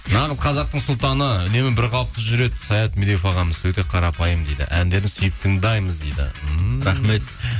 нағыз қазақтың сұлтаны үнемі бір қалыпты жүреді саят медеуов ағамыз өте қарапайым дейді әндерін сүйіп тыңдаймыз дейді ммм рахмет